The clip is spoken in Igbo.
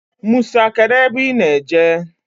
Musa, kedu ebe I ná-eje?